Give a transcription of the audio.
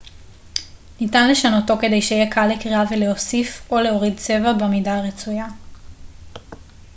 ניתן לשנותו כדי שיהיה קל לקריאה ולהוסיף או להוריד צבע במידה הרצויה